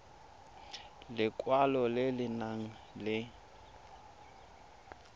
lekwalo le le nang le